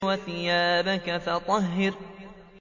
وَثِيَابَكَ فَطَهِّرْ